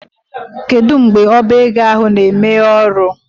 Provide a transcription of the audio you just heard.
Kedụ mgbe ọbá égo ahụ na emeghe ọrụ?